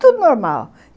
Tudo normal.